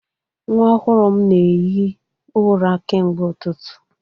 Nwa ọhụrụ m na-ehi ụra kemgbe ụtụtụ